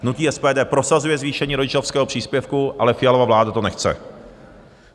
Hnutí SPD prosazuje zvýšení rodičovského příspěvku, ale Fialova vláda to nechce.